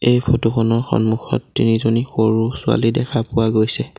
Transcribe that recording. এই ফটো খনৰ সন্মুখত তিনিজনী সৰু ছোৱালী দেখা পোৱা গৈছে।